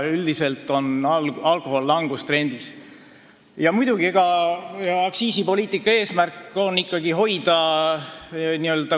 Üldiselt on alkoholi tarbimine langustrendis.